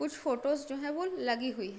कुछ फोटोज जो हैं वो लगी हुई हैं।